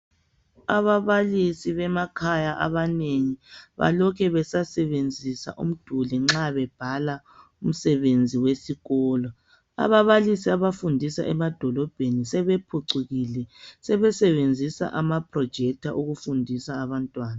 Ababalisi bemakhaya abanengi balokhe besasebenzisa umduli nxa bebhala umsebenzi wesikolo. Ababalisi abafundisa emadolobheni sebephucukile, sebesebenzisa ama phurojekitha ukufundisa abantwana.